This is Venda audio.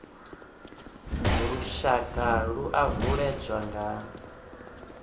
lushaka dzi o uuwedzwa nga